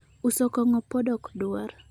uso kong'o pod okdwar